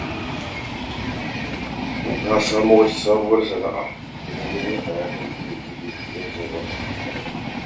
Na samo wata sabuwar sana'a da na gani a yanar gizo zan jarraba